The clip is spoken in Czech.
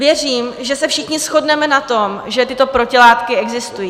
Věřím, že se všichni shodneme na tom, že tyto protilátky existují.